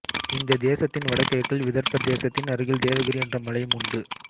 இந்த தேசத்தின் வடகிழக்கில் விதர்ப்பதேசத்தின் அருகில் தேவகிரி என்ற மலையும் உண்டு